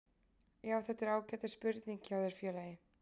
Já þetta er ágætis spurning hjá þér félagi.